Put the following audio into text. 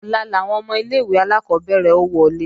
Ọ̀la làwọn ọmọ ilé-ìwé alákọ́bẹ̀rẹ̀ ó wọlé